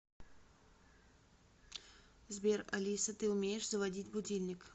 сбер алиса ты умеешь заводить будильник